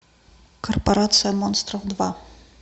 корпорация монстров два